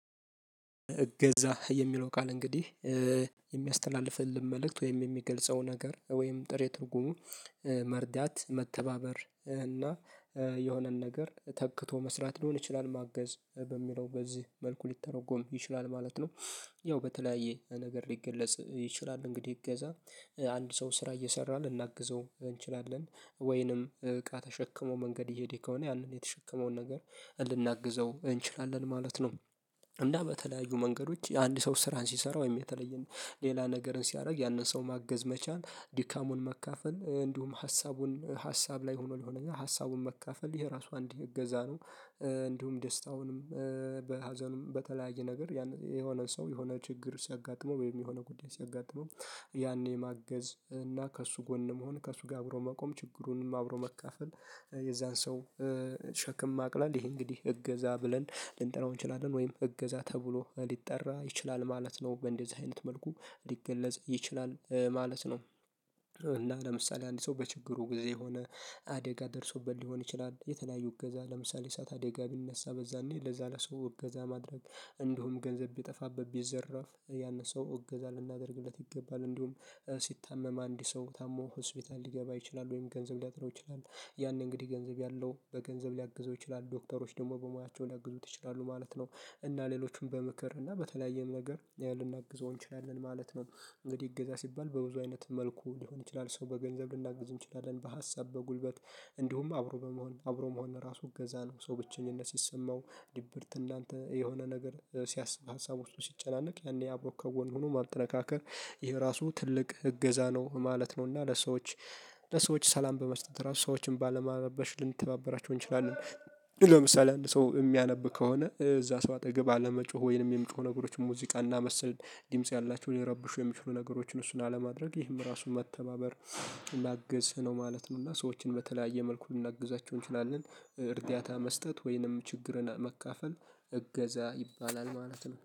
እገዛ የሚለው ቃል እንግዲህ የሚያስተላልፍልን መልእክት ወይም የሚገልጸው ነገር ወይም ጥሬ ትርጉሙ መርዳት መተባበር እና የሆነን ነገር ተክቶ መስራት ሊሆን ይችላል ማገዝ በሚለው በዚህ መልኩ ሊተረጎም ይችላል ማለት ነው። ያው በተለያየ ነገር ሊገለጽ ይችላል እንግዲህ እገዛ አንድ ሰው ስራ እየሠራ ልናግዘው እንችላለን ወይንም እቃ ተሸክሞ መንገድ እየሄደ ከሆነ ያንን የተሸከመውን ነገር ልናግዘው እንችላለን ማለት ነው። እና በተለያዩ መንገዶች አንድ ሰው ስራን ሲሰራ ወይም የተለየ ሌላ ነገርን ሲያደርግ ያንን ሰው ማገዝ መቻል ድካሙን መካፈል እንዲሁም ሀሳቡን ሀሳብ ላይ ሆኖ ለሆነና ሀሳቡን መካፈል ይሄ ራሱ አንድ እገዛ ነው። እንዲሁም ደስታውንም በሀዘኑም በተለያዩ ነገር ያን የሆነ ሰው የሆነ ችግር ሲያጋጥመው ወይም የሆነ ጉዳይ ሲያጋጥመው ያኔ ማገዝ እና ከእሱ ጎን መሆን ከእሱ ጋር አብሮ መቆም ችግሩንም አብሮ መካፈል። የዛን ሰው ሸክም ማቅለል ይሄ እንግዲህ እገዛ ብለን ልንጠራው እንችላለን ወይም እገዛ ተብሎ ሊጠራ ይችላል ማለት ነው በእንደዚህ አይነት መልኩ ሊገለጽ ይችላል ማለት ነው። እና ለምሳሌ አንድ ሰው በችግሩ ጊዜ የሆነ አደጋ ደርሶበት ሊሆን ይችላል የተለያዩ እገዛ ለምሳሌ እሳት አደጋ ቢነሳ በዛኔ ለዛ ለሰው እገዛ ማድረግ እንዲሁም ገንዘብ ቢጠፋበት ቢዘረፍ ያን ሰው እገዛ ልናደርግለት ይገባል። እንዲሁም ሲታመም አንድ ሰው ታሞ ሆስፒታል ሊገባ ይችላል ወይም ገንዘብ ሊያጥረው ይችላል ያንን እንግዲህ ገንዘብ ያለው በገንዘብ ሊያግዘው ይችላል ዶክተሮች ደግሞ በሙያቸው ሊያግዙት ይችላሉ ማለት ነው። እና ሌሎቹም በምክር እና በተለያየም ነገር ልናግዘው እንችላለን ማለት ነው እንግዲህ እገዛ ሲባል በብዙ አይነት መልኩ ሊሆን ይችላል ሰው በገንዘብ ልናግዝ እንችላለን በሀሳብ በጉልበት እንዲሁም አብሮ በመሆን አብሮ መሆን ራሱ እገዛ ነው። ሰው ብቸኝነት ሲሰማው ድብርት እናንተ የሆነ ነገር ሲያስብ ሀሳብ ውስጥ ሲጨናነቅ ያኔ አብሮክ ከጎን ሁኖ ማጠነካከር ይሄ ራሱ ትልቅ እገዛ ነው ማለት ነው። እና ለሰዎች ለሰዎች ሰላም በመስጠት ራሱ ሰዎችን ባለማረበሽ ልንተባበራቸው እንችላለን። ለምሳሌ አንድ ሰው የሚያነብ ከሆነ እዛ ሰው አጠገብ አለመጮህ ወይንም የሚጮሁ ነገሮችን ሙዚቃና መሰል ድምጽ ያላቸውን ሊረብሹ የሚችሉ ነገሮችን እሱን አለማድረግ ይህም ራሱን መተባበር ማገዝ ነው ማለት ነው። እና ሰዎችን በተለያየ መልኩ ልናግዛቸው እንችላለን እርዳታ መስጠት ወይንም ችግርን መካፈል እገዛ ይባላል ማለት ነው